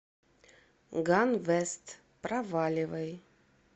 ганвест проваливай